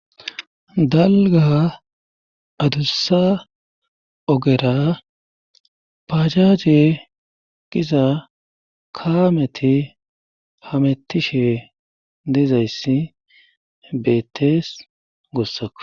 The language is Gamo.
Dalga adussa ogera pacaje qiza kaameti hamettishe deezayssi beettees goossako.